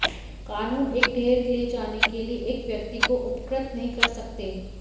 कानून एक ढेर ले जाने के लिए एक व्यक्ति को उपकृत नहीं कर सकते